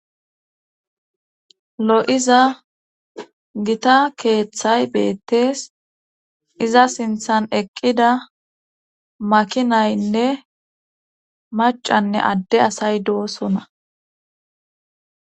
lo7iza gita keeththay beettees iza sinthan eqqida makinaynne macanne adde asay doosona